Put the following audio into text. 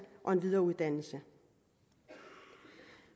og en videreuddannelse